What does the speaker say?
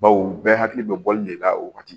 Baw bɛɛ hakili bɛ bɔli de la o wagati